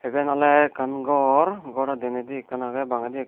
eban oley ekkan gor goro deneydi ekkan aagaley bangaydi ekkan.